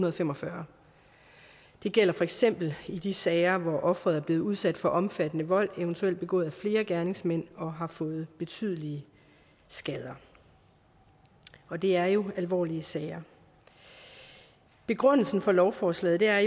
og fem og fyrre det gælder for eksempel i de sager hvor offeret er blevet udsat for omfattende vold eventuelt begået af flere gerningsmænd og har fået betydelige skader og det er jo alvorlige sager begrundelsen for lovforslaget er